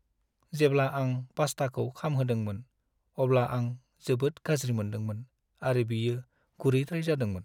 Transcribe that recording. जेब्ला आं पास्टाखौ खामहोदोंमोन, अब्ला आं जोबोद गाज्रि मोन्दोंमोन, आरो बियो गुरैद्राय जादोंमोन।